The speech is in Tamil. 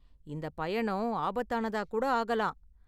இந்த பயணம் ஆபத்தானதா கூட ஆகலாம்.